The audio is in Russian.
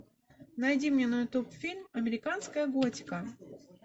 найди мне на ютуб фильм американская готика